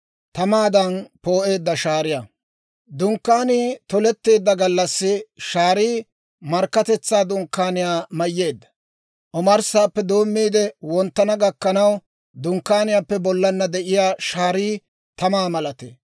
Dunkkaanii toletteedda gallassi shaarii Markkatetsaa Dunkkaaniyaa mayyeedda; omarssaappe doommiide, wonttana gakkanaw Dunkkaaniyaappe bollana de'iyaa shaarii tamaa malatee.